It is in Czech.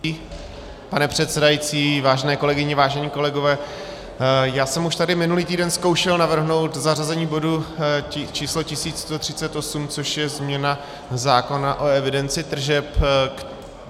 Pane předsedající, vážené kolegyně, vážení kolegové, já jsem už tady minulý týden zkoušel navrhnout zařazení bodu číslo 1138, což je změna zákona o evidenci tržeb.